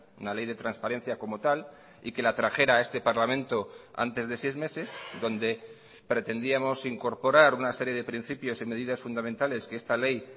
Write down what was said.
una ley de transparencia como tal y que la trajera a este parlamento antes de seis meses donde pretendíamos incorporar una serie de principios y medidas fundamentales que esta ley